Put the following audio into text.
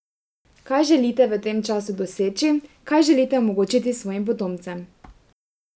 Kaj želite v tem času doseči, kaj želite omogočiti svojim potomcem?